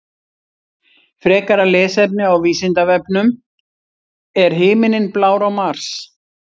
Frekara lesefni á Vísindavefnum: Er himinninn blár á Mars?